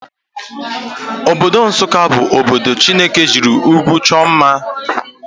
Obodo Nssụka bu obodo Chineke jiri ụgwụ chọọ mma.